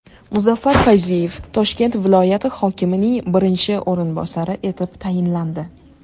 Muzaffar Fayziyev Toshkent viloyati hokimining birinchi o‘rinbosari etib tayinlandi.